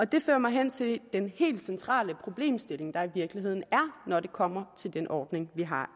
det fører mig hen til den helt centrale problemstilling der i virkeligheden er når det kommer til den ordning vi har